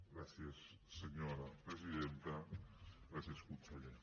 gràcies senyora presidenta gràcies conseller